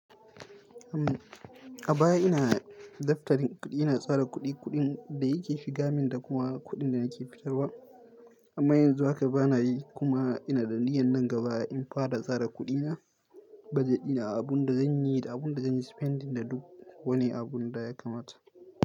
A baya ina daftarin kuɗi ina tsara kuɗi, kuɗin da yake shiga min da kuma kuɗin da nake fitarwa. Amma yanzu haka bana yi kuma ina danniyan nan gaba in fara tsara kuɗina, budjet ina a abun da zanyi da abun da zanyi spending da duk wani abun da ya kamata.